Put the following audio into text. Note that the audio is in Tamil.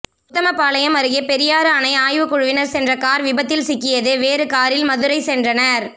உத்தமபாளையம் அருகே பெரியாறு அணை ஆய்வுக்குழுவினர் சென்ற கார் விபத்தில் சிக்கியது வேறு காரில் மதுரை சென்றனர்